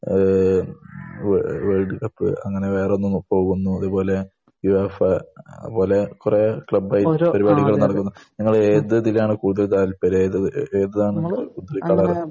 ഏഹ് വേ world cup അങ്ങനെ വേറെയൊന്നും ഇപ്പോൾ അതുപോലെ യുഏഫ അതുപോലെ കുറെ ക്ലബ് പരിപാടികൾ. നിങ്ങൾ ഏത് ഇതിലാണ് കൂടുതൽ താല്പര്യം? ഏതാണ് ?